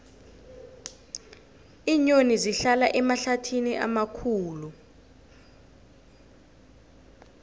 iinyoni zihlala emahlathini amakhulu